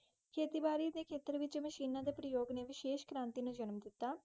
ਖੇਤੀਬਾੜੀ ਦੇ ਖੇਤਰ ਵਿੱਚ ਮਸ਼ੀਨਾਂ ਦੇ ਪ੍ਰਯੋਗ ਨੇ ਵਿਸ਼ੇਸ਼ ਕ੍ਰਾਂਤੀ ਨੂੰ ਜਨਮ ਦਿੱਤਾ।